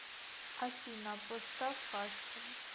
афина поставь кашин